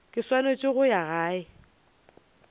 ke swanetse go ya gae